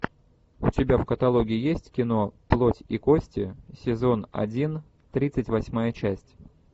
у тебя в каталоге есть кино плоть и кости сезон один тридцать восьмая часть